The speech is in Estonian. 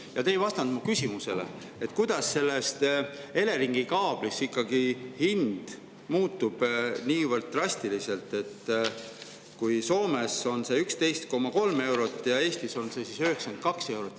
Ja te ei vastanud mu küsimusele, kuidas selles Eleringi kaablis ikkagi hind muutub niivõrd drastiliselt, et Soomes on see 11,3 eurot ja Eestis on see 92 eurot.